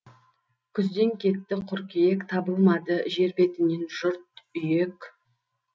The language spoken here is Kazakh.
күзден кетті қыркүйек табылмады жер бетінен жұрт үйек